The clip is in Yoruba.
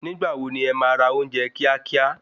Nígbà wo ni e ma ra ounje kíá kíá?